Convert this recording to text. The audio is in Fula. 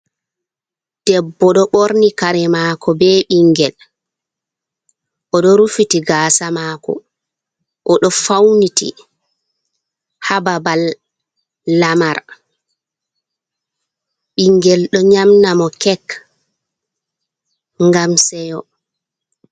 Debbo ɗo ɓorni kare mako be ɓingel o ɗo rufiti gasa mako oɗo fauniti ha babal lamar, ɓingel ɗo nyamna mo kek ngam sewo.